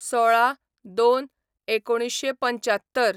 १६/०२/१९७५